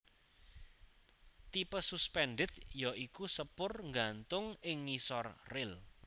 Tipe suspended ya iku sepur nggantung ing ngisor ril